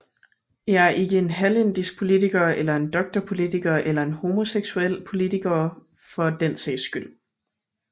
Jeg er ikke en halvindisk politiker eller en doktorpolitiker eller en homoseksuel politikere for den sags skyld